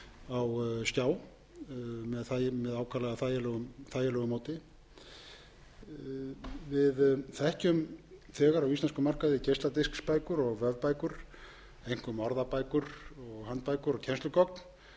á skjá með ákaflega þægilegu móti við þekkjum þegar á íslenskum markaði geisladisksbækur og vefbækur einkum orðabækur og handbækur og kennslugögn en við